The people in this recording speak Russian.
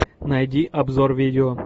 найди обзор видео